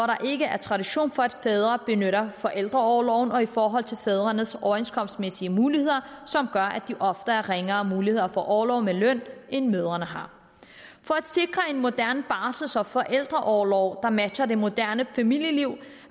der ikke er tradition for at fædre benytter forældreorloven og i forhold til fædrenes overenskomstmæssige muligheder som gør at de ofte har ringere muligheder for orlov med løn end mødrene har for at sikre en moderne barsels og forældreorlov der matcher det moderne familieliv